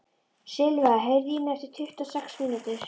Silva, heyrðu í mér eftir tuttugu og sex mínútur.